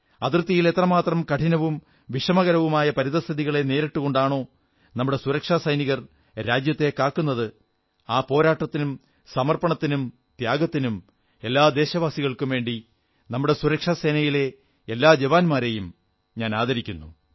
അതിർത്തിയിൽ എത്രമാത്രം കഠിനവും വിഷമകരവുമായ പരിതഃസ്ഥിതികളെ നേരിട്ടുകൊണ്ടാണോ നമ്മുടെ സുരക്ഷാസൈനികർ രാജ്യത്തെ കാക്കുന്നത് ആ പോരാട്ടത്തിനും സമർപ്പണത്തിനും ത്യാഗത്തിനും എല്ലാ ദേശവാസികൾക്കും വേണ്ടി നമ്മുടെ സുരക്ഷാസേനയിലെ എല്ലാ ജവാന്മാരെയും ആദരിക്കുന്നു